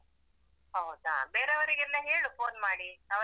ಹೌದಾ ಬೇರೆಯವರಿಗೆಲ್ಲ ಹೇಳು phone ಮಾಡಿ ಅವರತ್ರ.